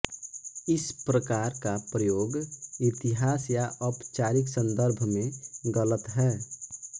इस प्रकार का प्रयोग इतिहास या औपचारिक सन्दर्भ में गलत है